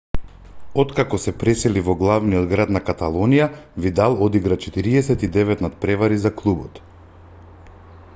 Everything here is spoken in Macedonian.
откако се пресели во главниот град на каталонија видал одигра 49 натпревари за клубот